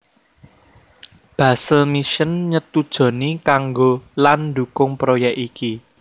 Basel Mission nyetujoni kanggo lan ndukung proyek iki